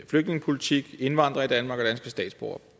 flygtningepolitik indvandrere i danmark og danske statsborgere